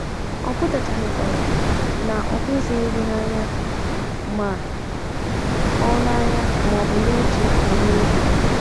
Ọ pụtachaghịkwa na ọ hụghịzi gị n’anya ma ọ n’anya ma ọ bụ na - eche banyere gị.